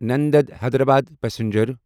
Nanded Hyderabad passenger